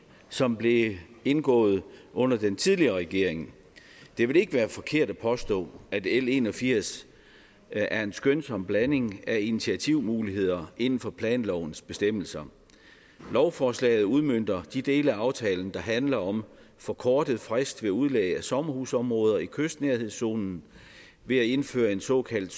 som blev indgået under den tidligere regering det vil ikke være forkert at påstå at l en og firs er en skønsom blanding af initiativmuligheder inden for planlovens bestemmelser lovforslaget udmønter de dele af aftalen der handler om forkortet frist ved udlæg af sommerhusområder i kystnærhedszonen ved at indføre en såkaldt